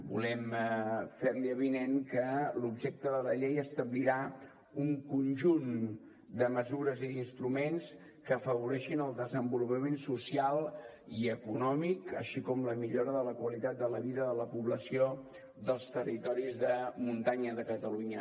volem fer li avinent que l’objecte de la llei establirà un conjunt de mesures i d’instruments que afavoreixin el desenvolupament social i econòmic així com la millora de la qualitat de la vida de la població dels territoris de muntanya de catalunya